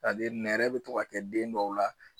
sa diri nɛrɛ be to ka kɛ den dɔw la